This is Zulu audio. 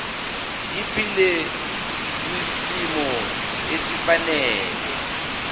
aphile kwisimo esifanele